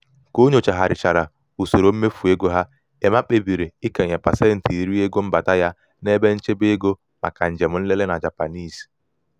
ka o nyochaghasịrị usoro mmefu ego ha emma kpebiri ikenye pasentị iri um ego mbata ya n'ebe nchebe ego maka njem nlele na japanese.